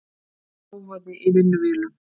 Hávaði í vinnuvélum.